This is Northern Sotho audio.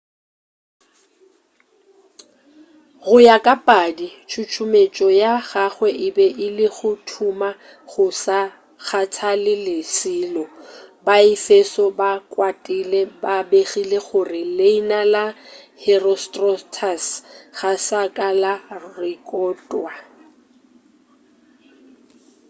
go ya ka padi tšutšumetšo ya gagwe e be e le go thuma go sa kgathale selo baefeso ba kwatile ba begile gore leina la herostratus ga sa ka la rekotwa